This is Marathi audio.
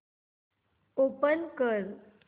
ओपन कर